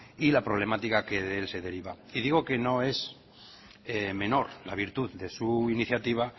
y la problemática que de él se deriva y digo que no es menor la virtud de su iniciativa